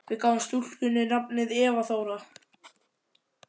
Við gáfum stúlkunni nafnið Eva Þóra.